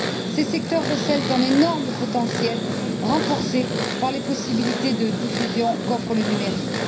Ces secteurs recèlent un énorme potentiel, renforcé par les possibilités de diffusion qu'offre le numérique.